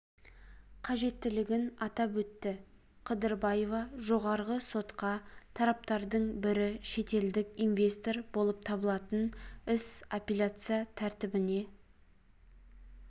қажеттігін атап өтті қыдырбаева жоғарғы сотқа тараптардың бірі шетелдік инвестор болып табылатын іс апелляция тәртібінде